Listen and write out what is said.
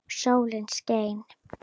Sól skein.